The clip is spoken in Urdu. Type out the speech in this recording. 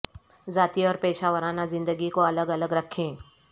ذاتی اور پیشہ ورانہ زندگی کو الگ الگ رکھیں